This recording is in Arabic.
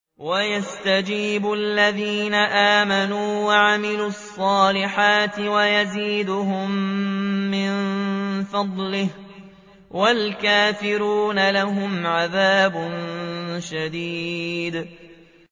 وَيَسْتَجِيبُ الَّذِينَ آمَنُوا وَعَمِلُوا الصَّالِحَاتِ وَيَزِيدُهُم مِّن فَضْلِهِ ۚ وَالْكَافِرُونَ لَهُمْ عَذَابٌ شَدِيدٌ